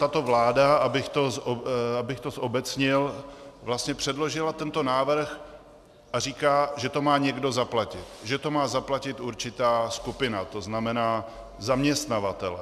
Tato vláda, abych to zobecnil, vlastně předložila tento návrh a říká, že to má někdo zaplatit, že to má zaplatit určitá skupina, to znamená zaměstnavatel.